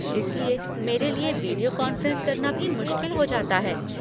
इसलिए मेरे लिए वीडियो कांफ़्रेंस करना भी मुश्किल हो जाता है।